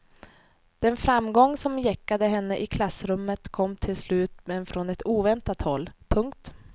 Den framgång som gäckade henne i klassrummet kom till slut men från ett oväntat håll. punkt